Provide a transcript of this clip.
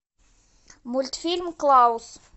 мультфильм клаус